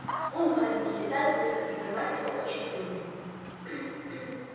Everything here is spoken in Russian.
он маленький летает быстро и поймать его очень трудно